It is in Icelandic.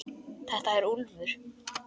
Þetta er Úlfur.